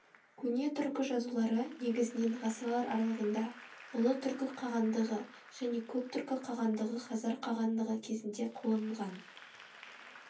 көне түркі жазулары негізінен ғасырлар аралығында ұлы түркі қағандығы және көк түркі қағандығы хазар қағандығы кезінде қолданылған